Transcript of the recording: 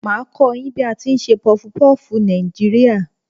Màá a kó yín bí a tí n se pufupúfù Nàìjíríà